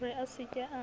re a se ke a